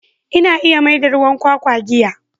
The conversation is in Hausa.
Ina iya maida ruwan kwakwa giya.